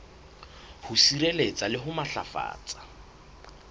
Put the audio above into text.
ho sireletsa le ho matlafatsa